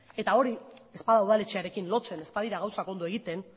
eta hori ez bada udaletxearekin lotzen ez badira gauzak ondo egiten